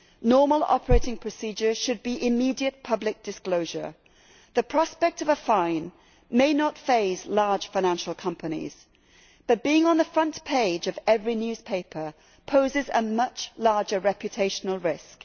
The normal operating procedure should be immediate public disclosure. The prospect of a fine may not faze large financial companies, but being on the front page of every newspaper poses a much larger reputational risk.